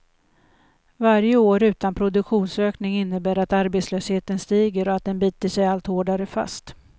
Varje år utan produktionsökning innebär att arbetslösheten stiger och att den biter sig allt hårdare fast.